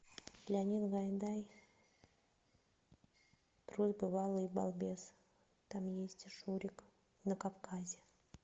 леонид гайдай трус бывалый и балбес там есть и шурик на кавказе